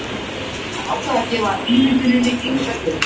Hann ákvað að gefa ímynduninni engan gaum.